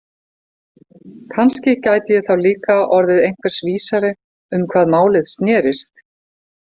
Kannski gæti ég þá líka orðið einhvers vísari um hvað málið snerist.